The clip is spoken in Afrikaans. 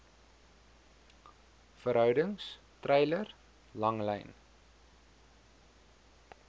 verhoudings treiler langlyn